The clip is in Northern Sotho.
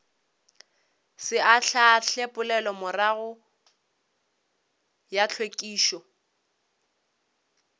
se ahlaahle poelomorago ya hlwekišo